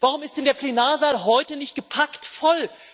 Warum ist denn der Plenarsaal heute nicht gepackt voll?